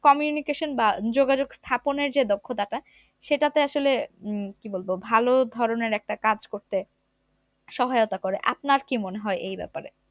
communication বা যোগাযোগ স্থাপনের যে দক্ষতাটা সেটাতে আসলে হম ভালো ধরনের একটা কাজ করতে সহায়তা করে আপনার কি মনে হয় এই ব্যাপারে